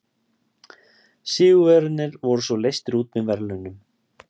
Sigurvegararnir voru svo leystir út með verðlaunum!